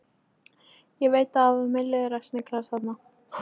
Ég veit að það var milliliður að sniglast þarna.